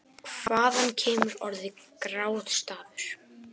Hvaðan kemur orðið grátstafur?